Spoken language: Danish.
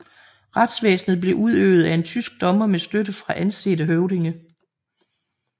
Retsvæsenet blev udøvet af en tysk dommer med støtte fra ansete høvdinge